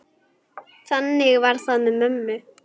Þannig var það með mömmu.